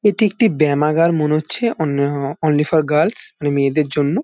এটি একটি ব্যামাগার মনে হচ্ছে। On uh only for girls মেয়েদের জন্য।